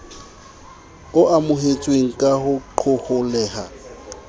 o amohetsweng ka ho qoholleha